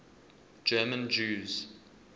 german jews